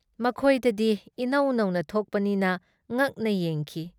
ꯃꯈꯣꯏꯗꯗꯤ ꯏꯅꯧ ꯅꯧꯅ ꯊꯣꯛꯄꯅꯤꯅ ꯉꯛꯅ ꯌꯦꯡꯈꯤ ꯫